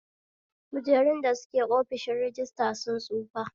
Kujerun da suke ofishin rajistra sun tsufa